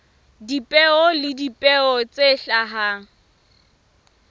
dipeo le dipeo tse hlahang